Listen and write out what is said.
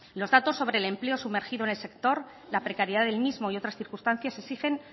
los datos sobre el empleo sumergido en el sector la precariedad del mismo y otras circunstancias exigen